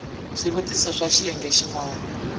swivutiso swa xiyenge xin wana